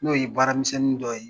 N'o ye baaramisɛnnin dɔ ye